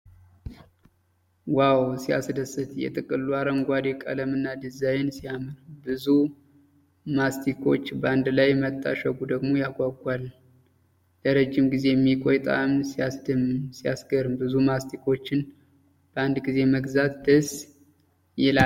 ዋው! ሲያስደስት! የጥቅሉ አረንጓዴ ቀለምና ዲዛይን ሲያምር! ብዙ ማስቲኮች በአንድ ላይ መታሸጉ ደግሞ ያጓጓል። ለረጅም ጊዜ የሚቆይ ጣዕም ሲያስደምም! ሲያስገርም! ብዙ ማስቲኮችን በአንድ ጊዜ መግዛት ደስ ይላል።